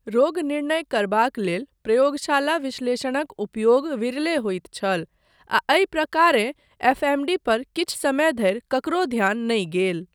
रोगनिर्णय करबाक लेल प्रयोगशाला विश्लेषणक उपयोग विरले होइत छल आ एहि प्रकारेँ एफएमडी पर किछु समय धरि ककरो ध्यान नहि गेल।